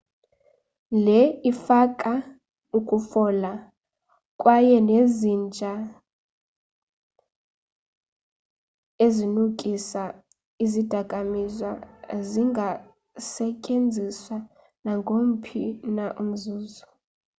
le ifaka ukufola kwaye nezinja-ezinukisa izidakamiswa zingasetyenziswa naongomphi na umzuzu